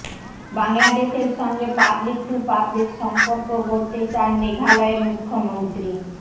বাংলাদেশের সঙ্গে public to public সম্পর্ক গড়তে চান মেঘালয়ের মুখ্যমন্ত্রী